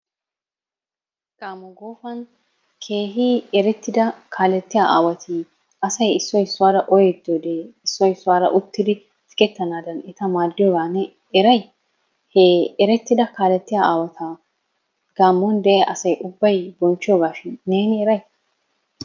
Gaamo Gofan keehi erettida kaaletiya aawati asay issoy issuwaara oyettioode issoy issuwaara uttidi sigettanadan eta maaddiyooga ne eray? He eretida kaaletiya aawata gaamon diya asay ubbay bonchchiyoogashin neen eray?